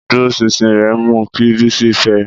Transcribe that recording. Ìdúróṣinṣin rẹ̀ mú kí Bisi fẹ́ ẹ.